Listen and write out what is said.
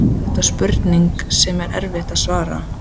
Eða er þetta spurning sem er erfitt að svara?